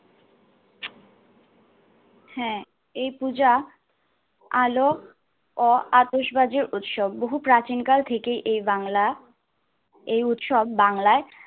হ্যা, এই পূজা আলো ও আতশবাজির উৎসব। বহু প্রাচীনকাল থেকেই এই বাংলা, এই উৎসব বাংলায়